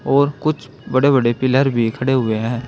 और कुछ बड़े बड़े पिलर भी खड़े हुए है।